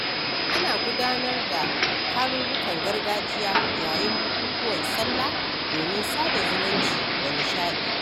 Ana gudanar da tarurrukan gargajiya yayin bukukuwan sallah domin sada zumunci da nishaɗi.